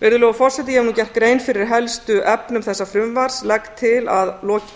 virðulegur forseti ég hef nú gert grein fyrir helstu efnum þessa frumvarps legg til að